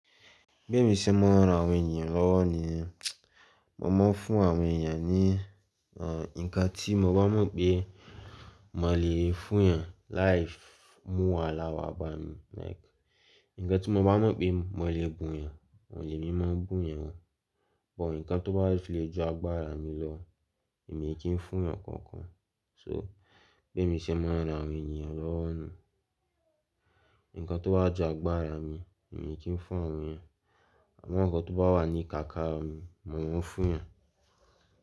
Bé mi ṣe mọ ran àwọn ènìyàn lọ́wọ́ ni, mo máa ń fún àwọn ènìyàn ní, ah, nǹkan tí mo bá mọ̀ pé mo lè fún yàn, life mú wa lọ́wọ́ baba mi. Like, nǹkan tí mo bá mọ̀ pé mo lè bù yàn, wọ̀ lé mi máa bù yàn. But nǹkan tó bá le ju agbára mi lọ, èmi kì í fún yàn kankan. So, bé mi ṣe mọ ran àwọn ènìyàn lọ́wọ́ nù. Nǹkan tó wà ju agbára mi, èmi kì í fún àwọn ènìyàn. Àwọn nǹkan tó bá wà ní kàkà mi, mo máa ń fún yàn.